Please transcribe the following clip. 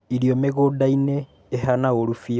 Irio mĩgunda-inĩ ihana ũũrũ biũ